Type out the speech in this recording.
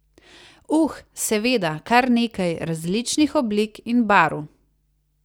Uh, seveda, kar nekaj, različnih oblik in barv.